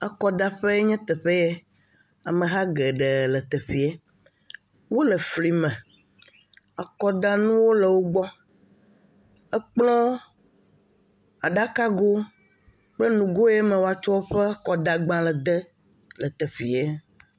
Akɔdaƒea nye teƒe ye ameha geɖe le teƒe ye, wole fli me, kplɔ, aɖakago kple nugo si me woatsɔ akɔdalẽ de la katã le teƒea.